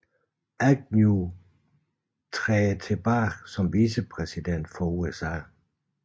Agnew træder tilbage som vicepræsident for USA